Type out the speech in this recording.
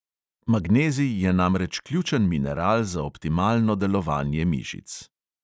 Magnezij je namreč ključen mineral za optimalno delovanje mišic.